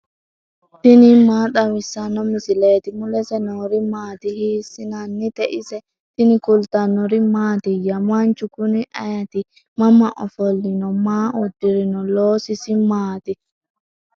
tini maa xawissanno misileeti ? mulese noori maati ? hiissinannite ise ? tini kultannori mattiya? Manchu kunni ayiitti? mama ofolinno? Maa udirinno? loososi maatti?